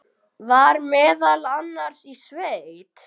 Var meðal annars í sveit.